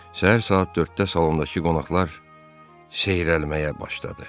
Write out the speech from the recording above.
Səhər saat 4-də salondakı qonaqlar seyrəlməyə başladı.